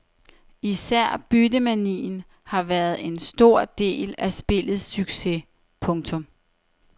Især byttemanien har været en stor del af spillets succes. punktum